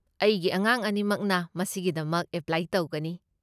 ꯑꯩꯒꯤ ꯑꯉꯥꯡ ꯑꯅꯤꯃꯛꯅ ꯃꯁꯤꯒꯤꯗꯃꯛ ꯑꯦꯄ꯭ꯂꯥꯏ ꯇꯧꯒꯅꯤ꯫